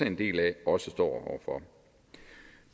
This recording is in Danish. en del af også står over for